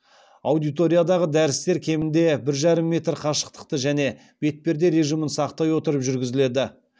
аудиториядағы дәрістер кемінде бір жарым метр қашықтықты және бетперде режимін сақтай отырып жүргізіледі